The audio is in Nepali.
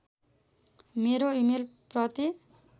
मेरो इमेल प्रति